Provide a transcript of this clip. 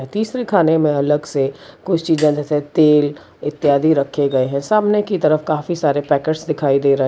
तीसरी खाने में अलग से कुछ चीजें जैसे तेल इत्यादि रखे गए हैं सामने की तरफ काफी सारे पैकेट्स दिखाई दे रहे --